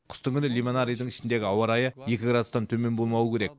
қыстың күні лимонарийдің ішіндегі ауа райы екі градустан төмен болмауы керек